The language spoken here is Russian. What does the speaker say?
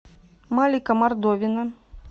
малика мордовина